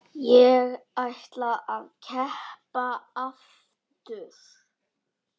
Ég ætla að keppa aftur.